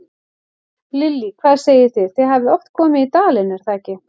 Lillý: Hvað segið þið, þið hafið oft komið í dalinn, er það ekki?